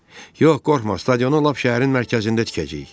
"Yox, qorxma, stadionu lap şəhərin mərkəzində tikəcəyik."